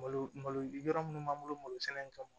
Malo malo yɔrɔ minnu b'an bolo malosɛnɛ in kama